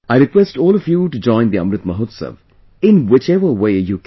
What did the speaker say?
I request all of you to join the Amrit Mahotsav, in whichever way you can